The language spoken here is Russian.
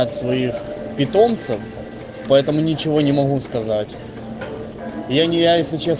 своих питомцев поэтому ничего не могу сказать я не я если честно